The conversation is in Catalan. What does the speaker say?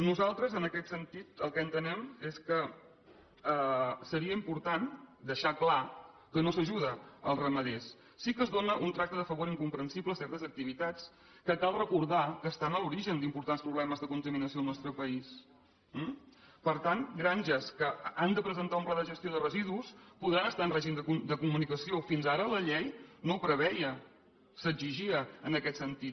nosaltres en aquest sentit el que entenem és que seria important deixar clar que no s’ajuda els ramaders sí que es dóna un tracte de favor incomprensible a certes activitats que cal recordar que estan a l’origen d’importants problemes de contaminació al nostre país eh per tant granges que han de presentar un pla de gestió de residus podran estar en règim de comunicació fins ara la llei no ho preveia s’exigia en aquest sentit